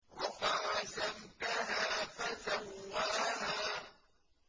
رَفَعَ سَمْكَهَا فَسَوَّاهَا